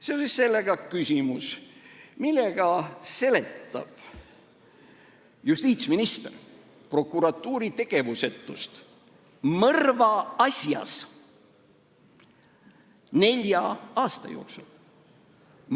Seoses sellega küsimus: millega seletab justiitsminister prokuratuuri tegevusetust mõrva asjas nelja aasta jooksul?